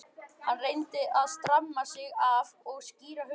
Hann reyndi að stramma sig af og skýra hugann.